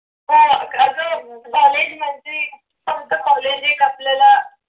हा असं मग असं college मध्ये फक्त college एक आपल्याला